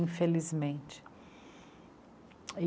Infelizmente. Aí...